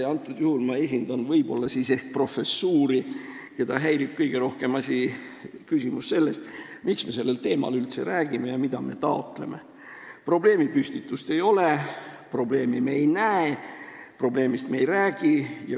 Praegusel juhul ma esindan ehk professuuri, keda häirib kõige rohkem see küsimus, miks me sellel teemal üldse räägime ja mida me taotleme: probleemipüstitust ei ole, probleemi me ei näe, probleemist me ei räägi.